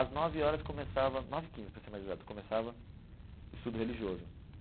Às nove horas começava, nove e quinze para ser mais exato, começava o estudo religioso.